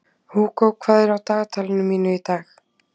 Hugo, hvað er á dagatalinu mínu í dag?